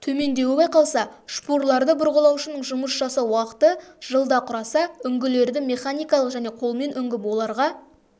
төмендеуі байқалса шпурларды бұрғылаушының жұмыс жасау уақыты жылда құраса үңгілерді механикалық және колмен үңгіп оларға